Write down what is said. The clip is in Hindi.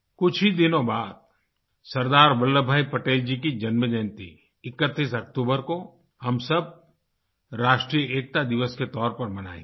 कुछ ही दिनों बाद सरदार वल्लभ भाई पटेल जी की जन्म जयंती 31 अक्टूबर को हम सब राष्ट्रीय एकता दिवस के तौर पर मनाएंगे